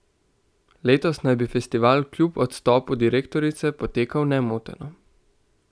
Letos naj bi festival kljub odstopu direktorice potekal nemoteno.